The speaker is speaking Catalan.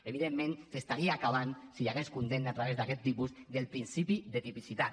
evidentment s’estaria acabant si hi hagués condemna a través d’aquest tipus amb el principi de tipicitat